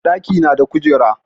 ɗaki na da kujera